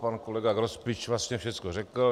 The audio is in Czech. Pan kolega Grospič vlastně všecko řekl.